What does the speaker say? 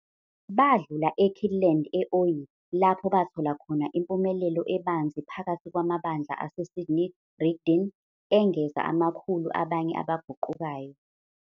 Badlula eKirtland, e-Ohio, lapho bathola khona impumelelo ebanzi phakathi kwamabandla aseSidney Rigdon, engeza amakhulu abanye abaguqukayo.